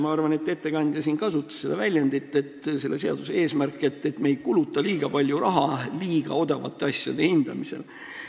Ma arvan, et ettekandja kasutas seda väljendit, et selle seaduseelnõu eesmärk on mitte kulutada liiga palju raha liiga odavate asjade hindamisele.